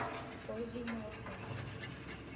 козье молоко